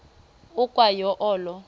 ukwa yo olo